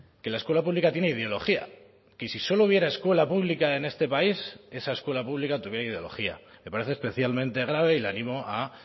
que la escuela pública tiene ideología que si solo hubiera escuela pública en este país esa escuela pública tuviera ideología me parece especialmente grave y le animo a